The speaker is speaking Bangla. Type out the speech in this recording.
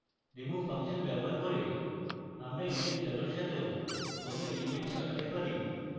remove ফাংশন ব্যবহার করে আমরা index value এর সাথেও কোনো element সরাতে পারি